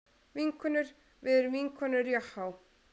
Vinkonur, við erum vinkonur Jahá.